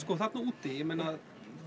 þarna úti ég meina